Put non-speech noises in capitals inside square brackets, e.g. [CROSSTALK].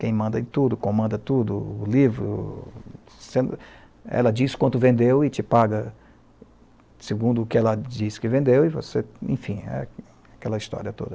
quem manda tudo, comanda tudo, o livro, [UNINTELLIGIBLE] ela diz quanto vendeu e te paga segundo o que ela disse que vendeu e você, enfim, aquela história toda.